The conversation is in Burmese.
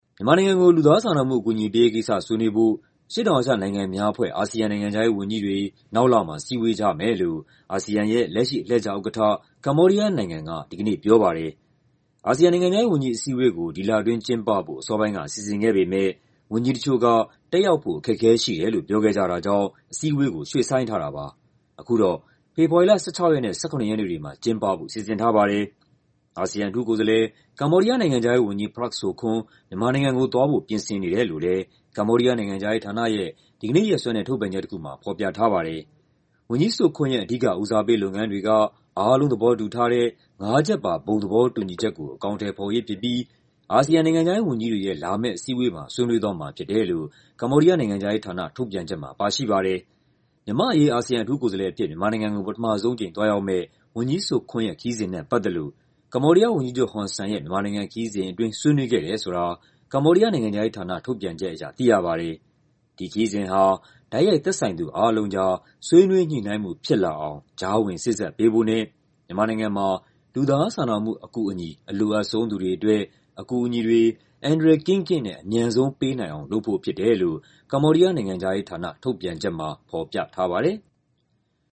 မြန်မာနိုင်ငံကို လူသားစာနာမှု အကူအညီပေးရေးကိစ္စ ဆွေးနွေးဖို့ အရှေ့တောင်အာရှ နိုင်ငံများအဖွဲ့ (ASEAN) နိုင်ငံခြားရေးဝန်ကြီးတွေ နောက်လမှာ စည်းဝေးကြမယ်လို့ အာဆီယံရဲ့ လက်ရှိ အလှည့်ကျဥက္ကဋ္ဌ ကမ္ဘောဒီးယားနိုင်ငံက ဒီကနေ့ ပြောပါတယ်။ အာဆီယံ နိုင်ငံခြားရေးဝန်ကြီး အစည်းအဝေးကို ဒီလအတွင်းကျင်းပဖို့ အစောပိုင်းက စီစဉ်ခဲ့ပေမယ့် ဝန်ကြီးတချို့က တက်ရောက်ဖို့ အခက်အခဲရှိတယ်လို့ ပြောခဲ့ကြတာကြောင့် အစည်းအဝေးကို ရွှေ့ဆိုင်းထားတာပါ။ အခုတော့ ဖေဖော်ဝါရီလ ၁၆ ရက်နဲ့ ၁၇ ရက်နေ့တွေမှာ ကျင်းပဖို့ စီစဉ်ထားပါတယ်။ အာဆီယံ အထူးကိုယ်စားလှယ်၊ ကမ္ဘောဒီးယား နိုင်ငံခြားရေးဝန်ကြီး Prak Sokhonn မြန်မာနိုင်ငံကိုသွားဖို့ ပြင်ဆင်နေတယ်လို့လည်း ကမ္ဘောဒီးယား နိုင်ငံခြားရေးဌာနရဲ့ ဒီကနေ့ရက်စွဲနဲ့ ထုတ်ပြန်ချက်တခုမှာ ဖော်ပြထားပါတယ်။ ဝန်ကြီး Sokhonn ရဲ့ အဓိက ဦးစားပေးလုပ်ငန်းတွေက "အားလုံးသဘောတူထားတဲ့ ငါးချက်ပါ ဘုံသဘောတူညီချက်ကို အကောင်အထည်ဖော်ရေးဖြစ်ပြီး အာဆီယံ နိုင်ငံခြားရေး ဝန်ကြီးတွေရဲ့ လာမယ့်အစည်းအဝေးမှာ ဆွေးနွေးသွားမှာဖြစ်တယ်လို့ ကမ္ဘောဒီးယား နိုင်ငံခြားရေးဌာန ထုတ်ပြန်ချက်မှာ ပါရှိပါတယ်။ မြန်မာ့အရေး အာဆီယံ အထူးကိုယ်စားလှယ်အဖြစ် မြန်မာနိုင်ငံကို ပထမဆုံးအကြိမ် သွားရောက်မယ့် ဝန်ကြီး Sokhonn ရဲ့ ခရီးစဉ်နဲ့ ပတ်သက်လို့ ကမ္ဘောဒီးယားဝန်ကြီးချုပ် ဟွန်ဆန်ရဲ့ ခရီးစဉ်အတွင်း ဆွေးနွေးခဲ့တယ်ဆိုတာ ကမ္ဘောဒီးယား နိုင်ငံခြားရေးဌာန ထုတ်ပြန်ချက်အရ သိရပါတယ်။ ဒီခရီးစဉ်ဟာ တိုက်ရိုက် သက်ဆိုင်သူအားလုံးကြား ဆွေးနွေးညှိနှိုင်းမှု ဖြစ်လာအောင် ကြားဝင်စေ့စပ်ပေးဖို့နဲ့ မြန်မာနိုင်ငံမှာ လူသားစာနာမှု အကူအညီ အလိုအပ်ဆုံး သူတွေအတွက် အကူအညီတွေ အန္တရာယ်ကင်းကင်းနဲ့ အမြန်ဆုံးပေးနိုင်အောင် လုပ်ဖို့ဖြစ်တယ်လို့ ကမ္ဘောဒီးယား နိုင်ငံခြားရေးဌာန ထုတ်ပြန်ချက်မှာ ဖော်ပြထားပါတယ်။